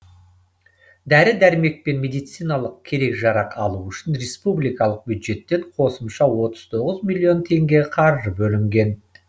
дәрі дәрмек пен медициналық керек жарақ алу үшін республикалық бюджеттен қосымша отыз тоғыз миллион теңге қаржы бөлінген